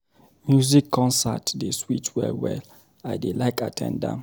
Music concert dey sweet well-well, I dey like at ten d am.